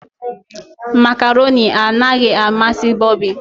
macaroni anaghị amasị bobby.